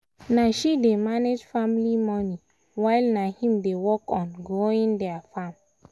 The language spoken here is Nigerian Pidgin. na she dey manage family money while na him dey work on growing their farm farm